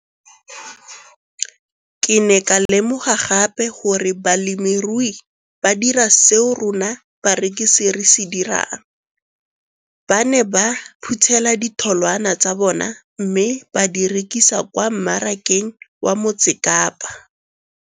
Ke ne ka lemoga gape gore balemirui ba dira seo rona barekisi re se dirang - ba ne ba phuthela ditholwana tsa bona mme ba di rekisa kwa marakeng wa Motsekapa.